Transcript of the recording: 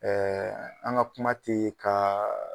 Ɛɛ an ka kuma te ka